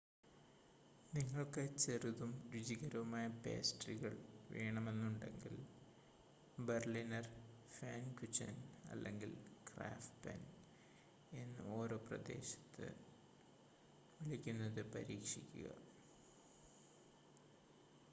നിങ്ങൾക്ക് ചെറുതും രുചികരവുമായ പേസ്ട്രികൾ വേണമെന്നുണ്ടെങ്കിൽ ബെർലിനർ ഫാൻകുചെൻ അല്ലെങ്കിൽ ക്രാപ്‌ഫെൻ എന്ന് ഓരോ പ്രദേശത്ത് വിളിക്കുന്നത് പരീക്ഷിക്കുക